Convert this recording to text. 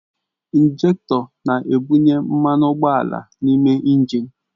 Injektọ na-ebunye mmanụ ụgbọala n'ime injin